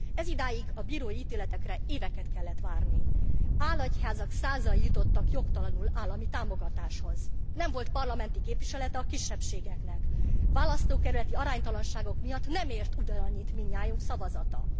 Ezidáig a bírói ítéletekre éveket kellett várni, álegyházak százai jutottak jogtalanul állami támogatáshoz, nem volt parlamenti képviselete a kisebbségeknek, választókerületi aránytalanságok miatt nem ért ugyanannyit mindnyájunk szavazata.